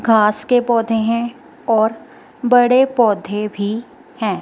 घास के पोधै हैं और बड़े पोधै भी हैं।